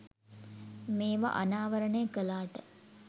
මේව අනාවරනය කලාට